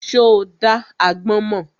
Ṣo dá agbọ́n mọ́?